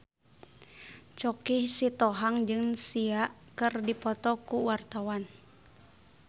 Choky Sitohang jeung Sia keur dipoto ku wartawan